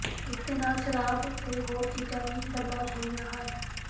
ਇਸਦੇ ਨਾਲ ਹੀ ਸ਼ਰਾਬ ਤੇ ਹੋਰ ਚੀਜ਼ਾਂ ਵੀ ਬਰਾਮਦ ਹੋਇਆ ਹਨ